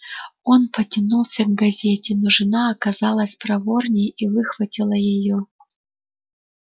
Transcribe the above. он потянулся к газете но жена оказалась проворнее и выхватила её